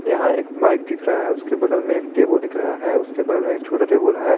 यहां एक बाइक दिख रहा है उसके बगल में एक टेबुल दिख रहा है उसके बगल में एक छोटा टेबुल है।